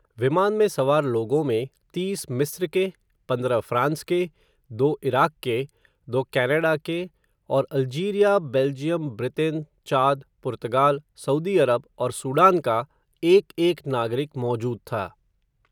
विमान में सवार लोगों में, तीस मिस्र के, पंद्रह फ़्रांस के, दो इराक के, दो कॅनाडा के, और Algeria, Belgium, Britain, Chad, Portugal, Saudi Arab, और सूडान का, एक एक नागरिक मौजूद था.